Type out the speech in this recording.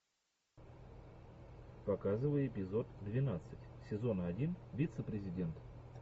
показывай эпизод двенадцать сезона один вице президент